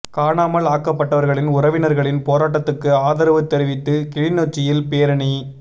காணாமல் ஆக்கப்பட்டவர்களின் உறவினர்களின் போராட்டத்துக்கு ஆதரவு தெரிவித்து கிளிநொச்சியில் பேரணி